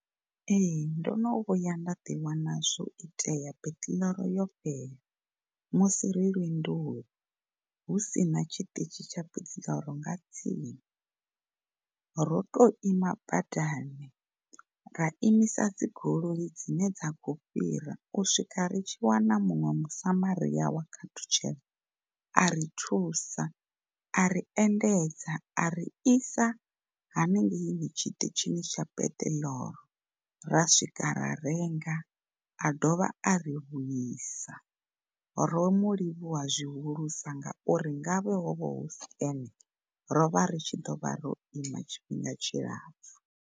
Ee, ndono vhuya nda ḓi wana zwo itea peṱiḽoro yo fhela musi ri lwendoni husina tshiṱitshi tsha peṱiḽoro nga tsini, ro to ima badani ra imisa dzi goloi dzine dza kho fhira u swika ri tshi wana muṅwe musamaria wa khathutshelo ari thusa ari endedza ari isa hanengei tshiṱitshini tsha peṱiḽoro ra swika ra renga a dovha ari vhuisa, ro mu livhuwa zwihulusa nga uri ngavhe hovha husi ene rovha ritshi ḓovha ro ima tshifhinga tshilapfu.